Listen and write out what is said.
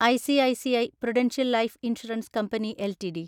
ICICI prudential life insurance company LTD